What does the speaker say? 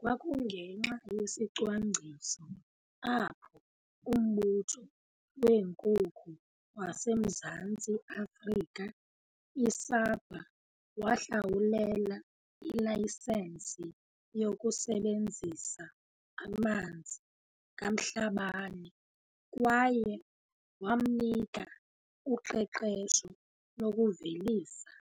Kwakungenxa yesicwangciso apho uMbutho weeNkukhu waseMzantsi Afrika i-SAPA wahlawulela ilayisensi yokusebenzisa amanzi kaMhlabane kwaye wamnika uqeqesho lokuvelisa